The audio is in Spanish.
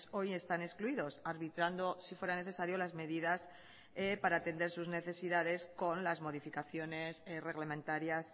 hoy están excluidos arbitrando si fuera necesario las medidas para atender sus necesidades con las modificaciones reglamentarias